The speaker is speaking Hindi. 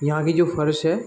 यहाँ की जो फर्श है।